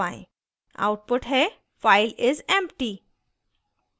output है file is empty